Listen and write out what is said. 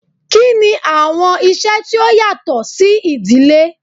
Kini awọn iṣẹ ti o yatọ si idile?